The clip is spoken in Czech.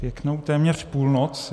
Pěknou téměř půlnoc.